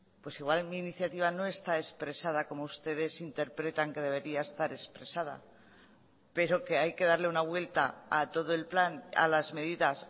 pues igual en mi iniciativa no está expresada como ustedes interpretan que debería estar expresada pero que hay que darle una vuelta a todo el plan a las medidas